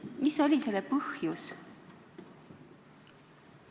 Mis oli selle põhjus?